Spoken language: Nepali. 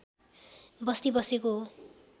बस्ती बसेको हो